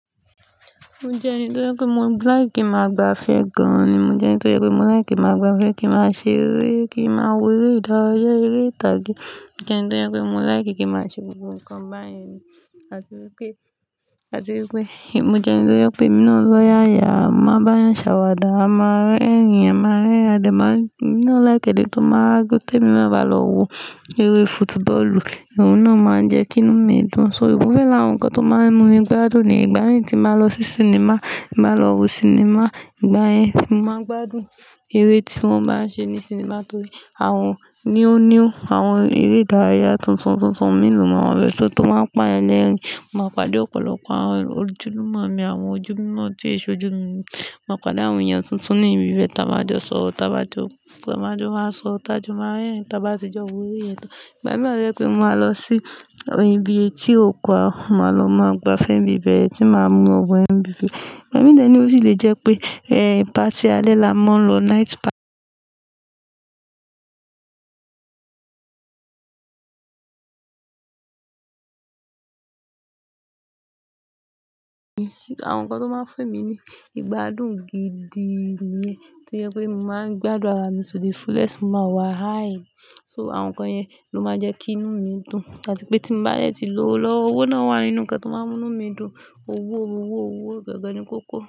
Mo jẹ́ ẹni tó jẹ pé mo like ki ma gbafẹ́ gan ni. Mo jẹ́ ẹni tó jẹ pé mo like máa gbafẹ́, kí máa ṣe eré, kí máa wo eré ìdárayá, eré ìtàgé. Mo jẹ́ ẹni tó jẹ pé mo like kí màá ṣe gbogbo nǹkan báyìí ni. Àti wípé, àti wípé, mo jẹ́ ẹni tó yẹ pé mi náà lọ́ ya ya, máa bá a ṣàwàdà, a máa rí ẹ̀rín, a máa rin ẹrin, a dẹ ma n emi náà like ede tó máa jẹ pé ti emi náà bá lọ wo eré football, ohun náà máa ń jẹ́ kí inú mi dùn. So ohun na wa lara awọn nǹkan tó máa ń mú mi gbádùn nìyẹn, ìgbà yẹn tí màá lọ sí sinimá, máa lọ wo sinimá, ìgbà yẹn mo máa n gbádùn eré tí wọ́n bá ń ṣe ní sinimá torí àwọn níóniú, àwọn eré ìdárayá tuntun tuntun mí lù máa ń rí, ṣó tó máa ń pa yan lerin máa pàdé ọ̀pọ̀lọpọ̀ àwọn ojúlùmọ̀ mi, àwọn ojú mímọ́ tí èṣò jú mi. Màá pàdé àwọn èèyàn tuntun ní ibi bẹ́ẹ̀, táa máa jọ sọ̀rọ̀, táa bá jọ, táa máa jọ wá sọ, táa jọ máa rerin, táa bá ti jẹ́ ọ wò eré yẹn tán. Ìgbà míì wa toye pé màá lọ sí ibi è tí òkò ọ̀kum màá lọ máa gbafẹ́ ní ibi bẹ́ẹ̀ tí màá mú ọ̀wọ́ MV. Ìgbà míì tẹ́lẹ̀ ni ó sì lè jẹ́ pé ẹ̀ party alẹ́ la máa ń lọ night party. Àwọn nǹkan tó máa ń fún mi ní ìgbádùn gidi nìyẹn. To yẹ pé mo máa ń gbádùn ara mi to the fullest máa wà high. So àwọn nǹkan yẹn ló máa ń jẹ́ kí inú mi dùn. Àti pé tí mo bá rẹ̀ ti lò lọ́wọ́, owó náà wà nínú nǹkan tó máa ń mú inú mi dùn. Owó, owó, owó gan gan ni kókó.